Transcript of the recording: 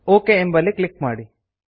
okay ಎಂಬಲ್ಲಿ click ಮಾಡಿ